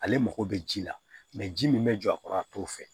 Ale mako bɛ ji la ji min bɛ jɔ a kɔrɔ a t'o fɛ